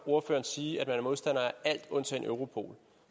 ordføreren sige at man er modstander af alt undtagen europol